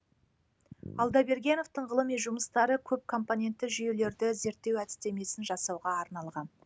алдабергеновтың ғылыми жұмыстары көп компонентті жүйелерді зерттеу әдістемесін жасауға арналған